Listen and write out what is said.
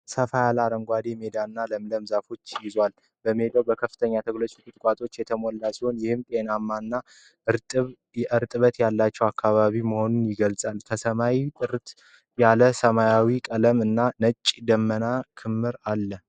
ሰፋ ያለ አረንጓዴ ሜዳና ለምለም ዛፎችን ይዟል። ሜዳው በከፍተኛ ተክሎችና ቁጥቋጦዎች የተሞላ ሲሆን፣ ይህም ጤናማና እርጥበት ያለው አካባቢ መሆኑን ይገልጻል። ከሰማይ ጥርት ያለ ሰማያዊ ቀለም እና የነጫጭ ደመና ክምር አለው።